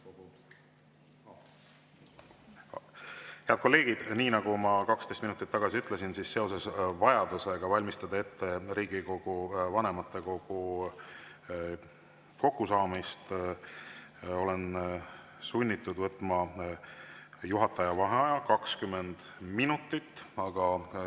Head kolleegid, nii nagu ma 12 minutit tagasi ütlesin, seoses vajadusega valmistada ette Riigikogu vanematekogu kokkusaamine olen sunnitud võtma juhataja vaheaja 20 minutit.